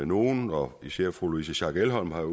nogle og især fru louise schack elholm har